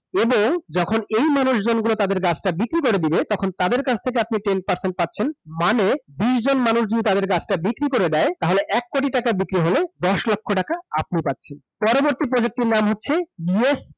এবং, যখন এই মানুষজন গুলো তাদের গাছটা বিক্রি করে দিবে, তখন তাদের কাছ থেকে আপনি ten percent পাচ্ছেন, মানে, বিশজন মানুষ যদি তাদের গাছটা বিক্রি করে দেয়, তাহলে এক কোটি টাকা বিক্রি হলে, দশ লক্ষ টাকা আপনি পাচ্ছেন। পরবর্তী project টির নাম হচ্ছে,